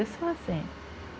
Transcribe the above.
Eu sou assim.